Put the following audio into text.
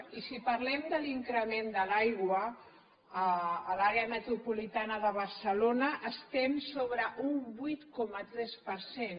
i si parlem de l’increment de l’aigua a l’àrea metropolitana de barcelona estem sobre un vuit coma tres per cent